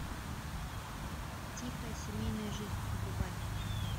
тихая семейная жизнь врубай